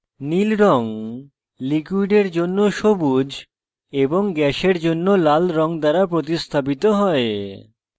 নীল red ​​লিকুইডের জন্য সবুজ এবং gas জন্য লাল red দ্বারা প্রতিস্থাপিত হয়